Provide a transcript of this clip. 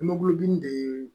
Mɛgulodimi de ye